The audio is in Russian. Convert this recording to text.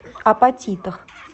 апатитах